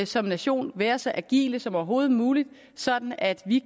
som nation være så agile som overhovedet muligt sådan at vi